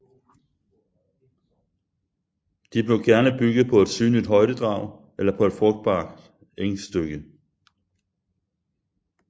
De blev gerne bygget på et synligt højdedrag eller på et frugtbart engstykke